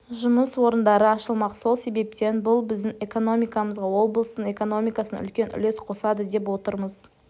жұмыс орындары ашылмақ сол себептен бұл біздің экономикамызға облыстың экономикасына үлкен үлес қосады деп отырмыз